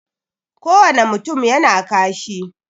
Ko wane mutum yana kashi